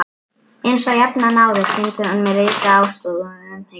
Einsog jafnan áður sýndi hún mér ríka ástúð og umhyggju.